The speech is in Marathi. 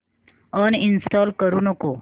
अनइंस्टॉल करू नको